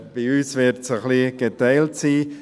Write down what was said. Bei uns wird es geteilt sein.